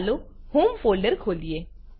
ચાલો હોમ folderખોલીએ